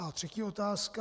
A třetí otázka.